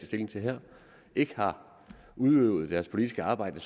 stilling til her ikke har udøvet deres politiske arbejde